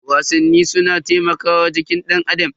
Wasanni suna taimakawa jikin danAdam.